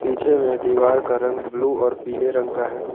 पीछे में दीवार का रंग ब्लू और पीले रंग का है।